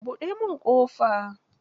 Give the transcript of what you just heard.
Buɗe min ƙofa.